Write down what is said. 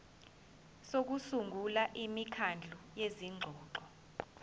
sokusungula imikhandlu yezingxoxo